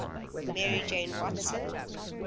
mary jane watson